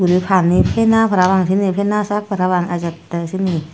ebey pani pena parapang syeni pena sak ejettey parapang syeni.